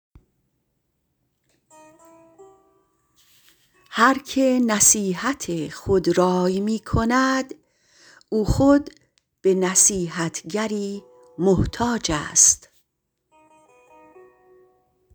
هر که نصیحت خودرای می کند او خود به نصیحتگری محتاج است